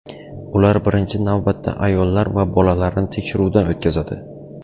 Ular birinchi navbatda ayollar va bolalarni tekshiruvdan o‘tkazadi.